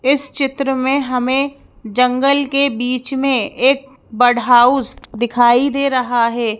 इस चित्र में हमें जंगल के बीच में एक बड हाउस दिखाई दे रहा है।